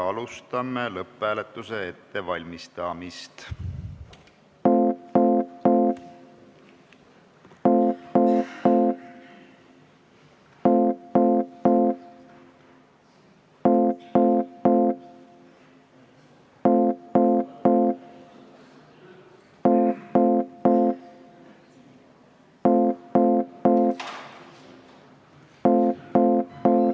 Alustame lõpphääletuse ettevalmistamist.